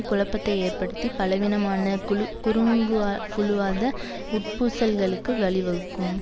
குழப்பத்தை ஏற்படுத்தி பலவீனமான குழு குறுங்குழுவாத உட்பூசல்களுக்கு வழிவகுக்கும்